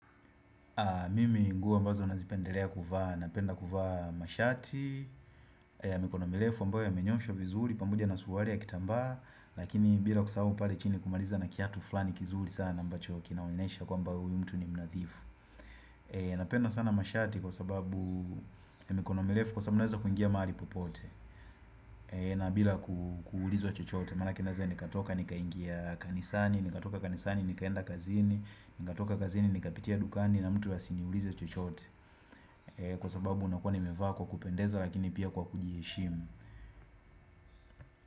Mimi nguo ambazo nazipendelea kuvaa, napenda kuvaa mashati ya mikono mirefu ambayo yamenyoshwa vizuri pamoja na suruali ya kitambaa Lakini bila kusahau pale chini kumaliza na kiatu fulani kizuri sana ambacho kinaonyesha kwamba huyu mtu ni mnadhifu Napenda sana mashati kwa sababu ya mikono mirefu kwa sababu naweza kuingia mahali popote na bila kuulizwa chochote, maanake naweza nikatoka nikaingia kanisani, nikatoka kanisani, nikaenda kazini, nikatoka kazini, nikapitia dukani na mtu asiniulize chochote Kwa sababu unakuwa nimevaa kwa kupendeza lakini pia kwa kujiheshimu.